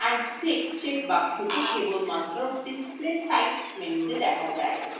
ball and stick check বক্সটি কেবলমাত্র display types মেনুতে দেখা যায়